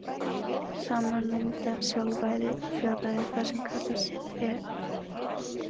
Saman mynda sjálfræði og fjárræði það sem kallað er lögræði.